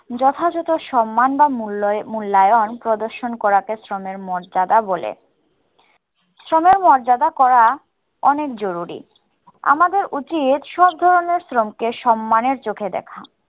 যথাযথ সম্মান বা মূল্যা~ মুল্যায়ন প্রদর্শন করাকে শ্রমের মর্যাদা বলে। শ্রমের মর্যাদা করা অনেক জরুরি। আমাদের উচিত সব ধরনের শ্রমকে সম্মানের চোখে দেখা।